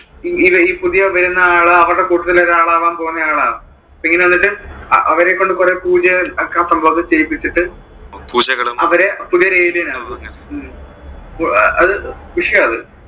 ഈ പുതിയ വരുന്ന ആള് അവരുടെ കുട്ടത്തിൽ ഒരു ആള് ആകാൻ പോകുന്ന ആളാ. അപ്പൊ ഇങ്ങനെ എന്നിട്ട് അവരെ കൊണ്ട് കുറെ പൂജകളും ആ സംഭവം ഒക്കെ ചെയ്യിപ്പിച്ചിട്ട് അവരെ പുതിയ ഒരു ആവും അത് വിഷയാ അത്.